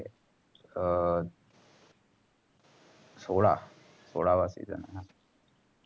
अं हा सोळा सोळावा season आहेना.